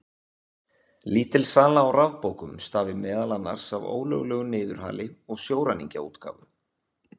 Lítil sala á rafbókum stafi meðal annars af ólöglegu niðurhali og sjóræningjaútgáfu.